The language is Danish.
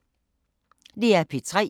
DR P3